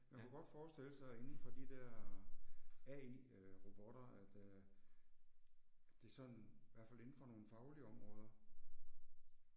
Man kunne godt forestille sig indenfor de der AI øh robotter at øh det sådan, hvert fald indenfor nogle faglige områder